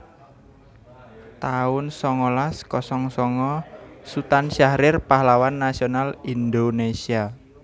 taun songolas kosong songo Sutan Syahrir pahlawan nasional Indonésia